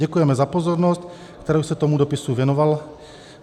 Děkujeme za pozornost, kterou jste tomuto dopisu věnoval.